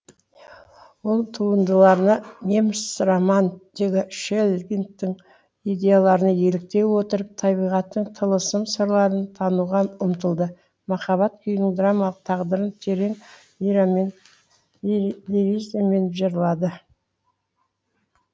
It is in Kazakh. ол туындыларына неміс романтигі шеллингтің идеяларына еліктей отырып табиғаттың тылысым сырларын тануға ұмтылды махаббат күйінің драмалық тағдырын терең лиризамен жырлады